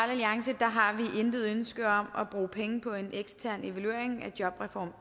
alliance har vi intet ønske om at bruge penge på en ekstern evaluering af jobreform